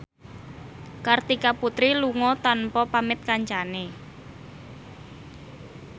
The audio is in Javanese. Kartika Putri lunga tanpa pamit kancane